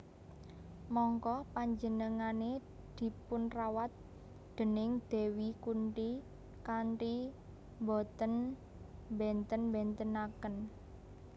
Mangka penjenengane dipunrawat déning Dewi Kunti kanthi boten mbenten bentenaken